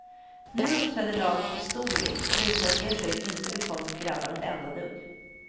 Nu uppträdde laget på stor rink och visade att det steget inte bekommit grabbarna ett enda dugg.